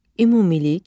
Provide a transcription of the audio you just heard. Ümumilik.